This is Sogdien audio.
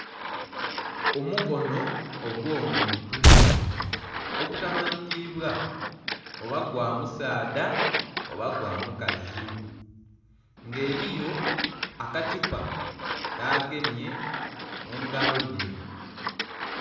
Omukono ogwo'muntu ogutamanhikibwa oba gwa musaadha oba gwa mukazi nga eriyo akathupa kagemye mungalo dhe.